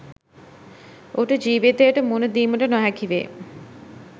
ඔහුට ජීවිතයට මුහුණ දීමට නොහැකි වේ.